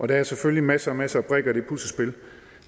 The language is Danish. der er selvfølgelig masser masser af brikker i det puslespil